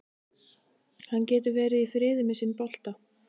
Hann getur verið í friði með sinn bolta.